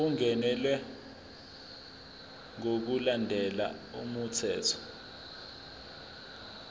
ungenelwe ngokulandela umthetho